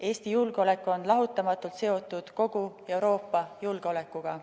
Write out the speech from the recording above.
Eesti julgeolek on lahutamatult seotud kogu Euroopa julgeolekuga.